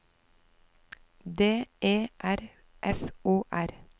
D E R F O R